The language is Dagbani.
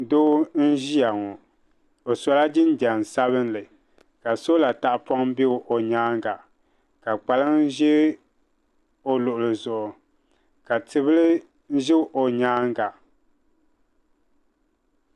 Doo n-ʒiya ŋɔ o sola jinjam sabinli ka sola tahipɔŋ be o nyaaŋa ka kpalaŋa ʒe o luɣili zuɣu ka tibila ʒe o nyaaŋa.